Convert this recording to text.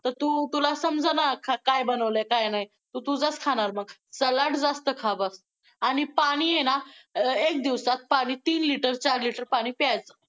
तर तू~ तुला समजलं ना, काय बनवलंय काय नाही, तू तुझंच खाणार मग! सलाड जास्त खा बघ! आणि पाणी आहे ना अं एक दिवसात पाणी तीन litre चार litre पाणी प्यायचं.